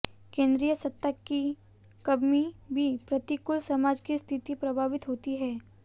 केंद्रीय सत्ता की कमी भी प्रतिकूल समाज की स्थिति प्रभावित होती है